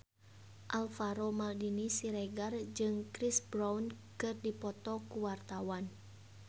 Alvaro Maldini Siregar jeung Chris Brown keur dipoto ku wartawan